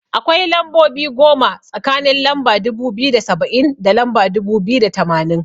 Akwai lambobi goma tsakanin lamba dubu biyu da saba'in, da lamba dubu biyu da tamanin.